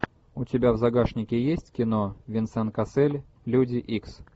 у тебя в загашнике есть кино венсан кассель люди икс